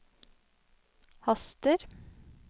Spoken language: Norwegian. haster